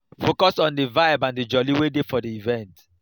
focus on di vibe and jolly wey dey for di event